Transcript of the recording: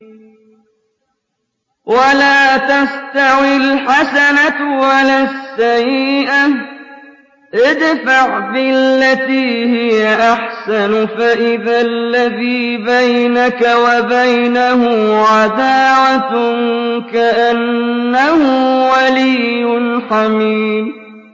وَلَا تَسْتَوِي الْحَسَنَةُ وَلَا السَّيِّئَةُ ۚ ادْفَعْ بِالَّتِي هِيَ أَحْسَنُ فَإِذَا الَّذِي بَيْنَكَ وَبَيْنَهُ عَدَاوَةٌ كَأَنَّهُ وَلِيٌّ حَمِيمٌ